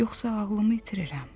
yoxsa ağlımı itirirəm?